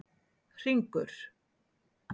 Hringur